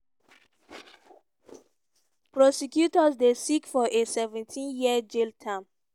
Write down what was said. prosecutors dey seek for a 17-year jail term.